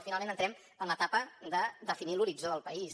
finalment entrarem en l’etapa de definir l’horitzó del país